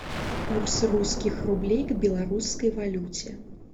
курс русских рублей к белорусской валюте